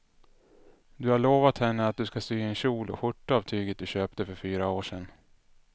Du har lovat henne att du ska sy en kjol och skjorta av tyget du köpte för fyra år sedan.